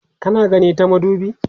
kana gani ta madubi?